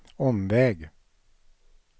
omväg